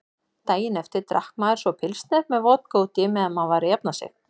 Daginn eftir drakk maður svo pilsner með vodka útí meðan maður var að jafna sig.